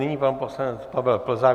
Nyní pan poslanec Pavel Plzák.